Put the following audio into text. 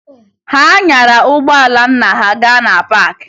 Ha nyara ụgbọala nna ha gaa na paakị